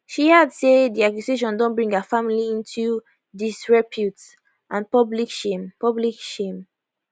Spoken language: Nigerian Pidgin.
she add say di accusation don bring her family into disrepute and public shame public shame